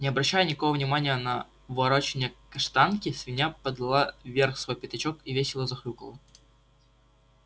не обращая никакого внимания на ворачанье каштанки свинья подняла вверх свой пятачок и весело захрюкала